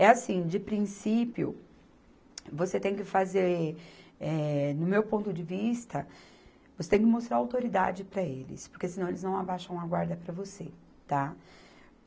É assim, de princípio, você tem que fazer, eh, no meu ponto de vista, você tem que mostrar autoridade para eles, porque senão eles não abaixam a guarda para você, tá?